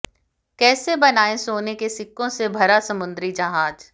कैसे बनाएं सोने के सिक्कों से भरा समुद्री जहाज